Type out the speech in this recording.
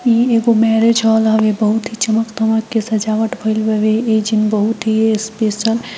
इ एगो marriage hall हवे जे बहुत ही चमक धमक के सजवट इ जिम बहुत ही स्पेशियल --